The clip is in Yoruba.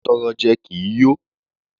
Atọrọjẹ kì í yó.